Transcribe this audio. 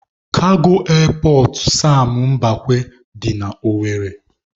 Kago Erpọt Sam Mbakwe dị na Owere